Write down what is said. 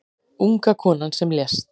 Unga konan sem lést